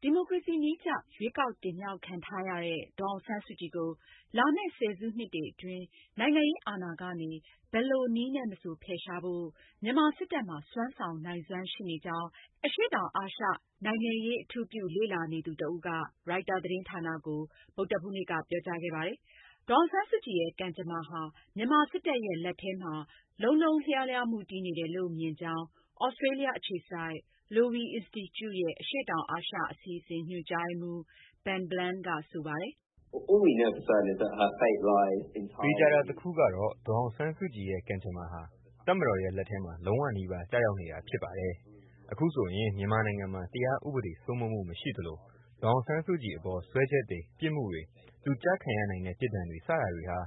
ဒီမိုကရေစီနည်းကျ ရွေးကောက်တင်မြှောက်ခံထားရတဲ့ ဒေါ်အောင်ဆန်းစုကြည်ကိုလာမယ့် ဆယ်စုနှစ်တွေအတွင်း နိုင်ငံရေးအာဏာကနေ ဘယ်လိုနည်းနဲ့မဆိုဖယ်ရှားဖို့ မြန်မာစစ်တပ်မှာ စွမ်းဆောင်နိုင်စွမ်းရှိနေကြောင်း အရှေ့တောင်အာရှနိုင်ငံရေး ကို အထူးပြုလေ့လာနေသူ တဦးက ရိုက်တာသတင်းဌာနကို ဗုဒ္ဓဟူးနေ့က ပြောကြားခဲ့ပါတယ်။ ဒေါ်အောင်ဆန်းစုကြည်ရဲ့ ကံကြမ္မာဟာ မြန်မာစစ်တပ်ရဲ့ လက်ထဲ လုံးလုံးလျားလျားမူတည်နေတယ်လို့မြင်ကြောင်း သြစတြေးလျအခြေစိုက် Lowy အင်စတီကျူရဲ့အရှေ့တောင်အာရှအစီအစဉ် ညွန်ကြားရေးမှူး Ben Bland ကဆိုပါတယ်။ “သေချာတာတခုကတော့ ဒေါ်အောင်ဆန်းစုကြည်ရဲ့ ကံကြမ္မာဟာ တပ်မတော် ရဲ့ လက်ထဲမှာ လုံးဝနီးပါးကျရောက်နေတာဖြစ်ပါတယ်။ အခုဆိုရင် မြန်မာနိုင်ငံမှာ တရားဥပဒေ စိုးမိုးမှုမရှိသလို၊ ဒေါ်အောင်ဆန်းစုကြည်အပေါ် စွဲချက်တွေ၊ ပြစ်မှုတွေ၊ သူကျခံရနိုင်တဲ့ ပြစ်ဒဏ်တွေ စတာတွေဟာ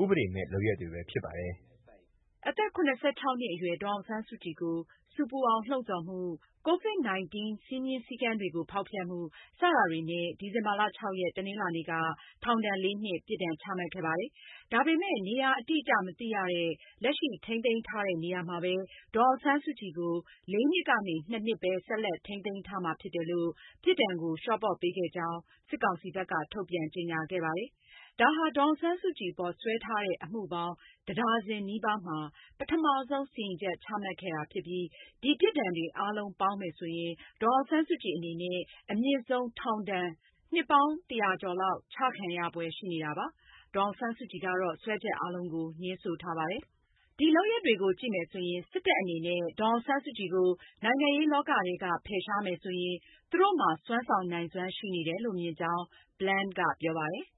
ဥပဒေမဲ့လုပ်ရပ်တွေပဲဖြစ်ပါတယ်။" အသက် နှစ်အရွယ် ဒေါ်အောင်ဆန်းစုကြည်ကို ဆူပူအောင်လှုံဆော်မှု၊ ကိုဗစ်-၁၉ စည်းမျဉ်းစည်းကမ်းတွေကို ဖောက်ဖျက်မှု စတာတွေနဲ့ ဒီဇင်ဘာလ ၆ ရက် တနင်္လာနေ့က ထောင်ဒဏ်လေးနှစ် ပြစ်ဒဏ်ချမှတ်ခဲ့ပါတယ်။ ဒါပေမဲ့ နေရာအတိအကျ မသိရတဲ့ လက်ရှိထိန်းသိမ်းထားတဲ့ နေရာမှာပဲ ဒေါ်အောင်ဆန်းစုကြည်ကို လေးနှစ်ကနေ နှစ်နှစ်ပဲ ဆက်လက်ထိန်းသိမ်းထားမှာဖြစ်တယ်လို့ ပြစ်ဒဏ်ကို လျော့ပေါ့ပေးခဲ့ကြောင်း စစ်ကောင်စီဘက်က ထုတ်ပြန်ကြေညာခဲ့ပါတယ်။ ဒါဟာ ဒေါ်အောင်ဆန်းစုကြည်အပေါ် စွဲထားတဲ့ အမှုပေါင်း တဒါဇင်နီးပါးမှာ ပထမဆုံးစီရင်ချက် ချခဲ့တာဖြစ်ပြီး ဒီပြစ်ဒဏ်တွေအာလုံးပေါင်းမယ်ဆိုရင် ဒေါ်အောင်ဆန်းစုကြည်အနေနဲ့ အမြင့်ဆုံး ထောင်ဒဏ် နှစ်ပေါင်း ၁၀၀ ကျော်လောက် ချခံရဖွယ်ရှိနေတာပါ။ ဒေါ်အောင်ဆန်းစုကြည်ကတော့ စွဲချက်အားလုံးကို ငြင်းဆိုထားပါတယ်။ ဒီလုပ်ရပ်တွေကိုကြည့်မယ်ဆိုရင် စစ်တပ်အနေနဲ့ ဒေါ်အောင်ဆန်းစုကြည်ကို နိုင်ငံရေးလောကထဲက ဖယ်ရှားမယ်ဆိုရင် သူတို့မှာ စွမ်းဆောင်နိုင်စွမ်းရှိနေတယ်လို့မြင်ကြောင်း Bland ကပြောပါတယ်။ “ဒါ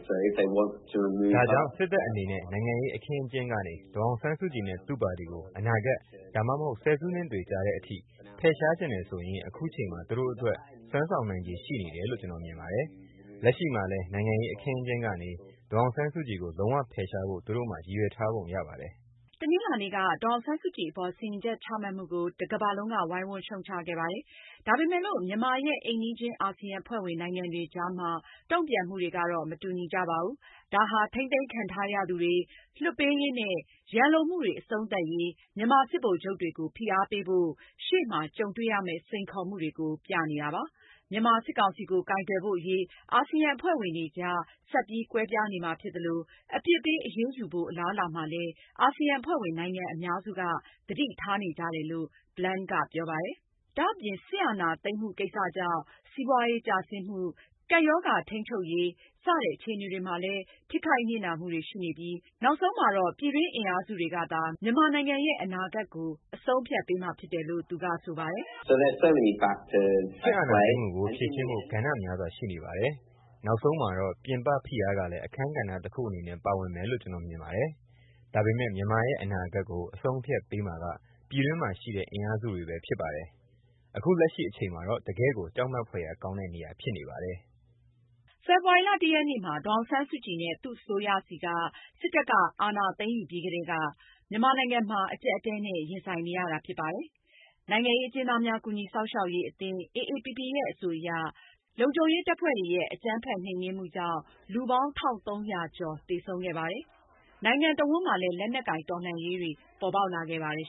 ကြောင့် စစ်တပ်အနေနဲ့ နိုင်ငံရေးအခင်းအကျင်းကနေ ဒေါ်အောင်ဆန်းစုကြည်နဲ့ သူ့ပါတီကို အနာဂတ် ဒါမှမဟုတ် ဆယ်စုနှစ်တွေကြာတဲ့အထိ ဖယ်ရှားချင်တယ်ဆိုရင် အခုချိန်မှာ သူတို့အတွက် စွမ်းဆောင်နိုင်ခြေရှိနေတယ်လို့ ကျနော်မြင်ပါတယ်။ လက်ရှိမှာလည်း နိုင်ငံရေး အခင်းအကျင်းကနေ ဒေါ်အောင်ဆန်းစုကြည်ကို လုံးဝဖယ်ရှားဖို့ သူတို့မှာ ရည်ရွယ်ထားပုံရပါတယ်။" တနင်္လာနေ့က ဒေါ်အောင်ဆန်းစုကြည်အပေါ် စီရင်ချက်ချမှုကို တကမ္ဘာလုံးက ဝိုင်းဝန်းရှုတ်ချခဲ့ပါတယ်။ ဒါပေမယ်လို့ မြန်မာရဲ့ အိမ်နီးချင်း အာဆီယံအဖွဲ့ဝင်နိုင်ငံတွေကြားမှာ တုံ့ပြန်မှုတွေဟာ မတူညီကြပါဘူး။ ဒါဟာ ထိန်းသိမ်းခံထားရသူတွေလွှတ်ပေးရေးနဲ့ရန်လိုမှုတွေ အဆုံးသတ်ရေး မြန်မာစစ်ဗိုလ်ချုပ်တွေကို ဖိအားပေးဖို့ ရှေ့မှာ ကြုံတွေရမယ့် စိန်ခေါ်မှုတွေကို ပြနေတာပါ။ မြန်မာစစ်ကောင်စီကို ကိုင်တွယ်ဖို့အရေး အာဆီယံအဖွဲ့ဝင်တွေကြား ဆက်ပြီး ကွဲပြားနေမှာဖြစ်သလို၊ အပြစ်ပေးအယူရေးမှုဖို့ အလားအလာမှာလည်း အာဆီယံအဖွဲ့ဝင်နိုင်ငံအများစုက သတိထားနေကြတယ်လို့ Bland ကပြောပါတယ်။ ဒါအပြင် မြန်မာစစ်အာဏာသိမ်းမှုကိစ္စဟာ စီးပွားရေးကျဆင်းမှု၊ ကပ်ရောဂါထိန်းချုပ်ရေး စတဲ့ အခြေအနေတွေမှာလည်း ထိခိုက်နစ်နာမှုတွေရှိနေပြီး နောက်ဆုံးမှာတော့ ပြည်တွင်းအင်အားစုတွေကသာ မြန်မာနိုင်ငံရဲ့ အနာဂတ်ကို အဆုံးအဖြတ်ပေးမှာဖြစ်တယ်လို့ သူက ဆိုပါတယ်။ “ စစ်အာဏာသိမ်းမှုကို ဖြေရှင်းဖို့ ကဏ္ဍများစွာရှိနေပါတယ်။ နောက်ဆုံးမှာတော့ ပြင်ပ ဖိအားကလည်း အခန်းကဏ္ဍတခုအနေနဲ့ ပါဝင်မယ်လို့ ကျနော်မြင်ပါတယ်။ ဒါပေမယ့် မြန်မာရဲ့အနာဂတ်ကို အဆုံးအဖြတ်ပေးမှာက ပြည်တွင်းမှာရှိတဲ့ အင်အားစုတွေပဲဖြစ်ပါတယ်။ အခုလက်ရှိအချိန်မှာတော့ တကယ့်ကိုကြောက်မက်ဖွယ်ရာကောင်းတဲ့ နေရာဖြစ်နေပါတယ်။" ဖေဖော်ဝါရီ ၁ ရက်နေ့မှာ ဒေါ်အောင်ဆန်းစုကြည်နဲ့ သူ့အစိုးရဆီကနေ စစ်တပ်က အာဏာသိမ်းယူပြီးကတည်းက မြန်မာနိုင်ငံမှာ အကျပ်အတည်းနဲ့ ရင်ဆိုင်နေရတာပါ။ နိုင်ငံရေးအကျဉ်းသားများကူညီစောင့်ရှောက်ရေးအသင်း အေအေပီပီရဲ့အဆိုအရ လုံခြုံရေးတပ်ဖွဲ့တွေရဲ့ အကြမ်းဖက်နှိမ်နင်းမှုကြောင့် လူပေါင်း ၁၃၀၀ ကျော် သေဆုံးခဲ့ပါတယ်။ နိုင်ငံနဲ့အဝှမ်းမှာလည်း လက်နက်ကိုင်တော်လှန်ရေးတွေပေါ်ပေါက်လာခဲ့ပါတယ်